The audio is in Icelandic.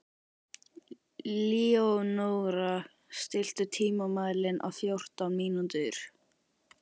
Leónóra, stilltu tímamælinn á fjórtán mínútur.